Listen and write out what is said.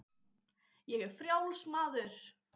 Ég er frjáls maður!